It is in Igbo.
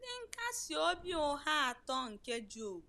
Ndị nkasi obi ụgha atọ nke Job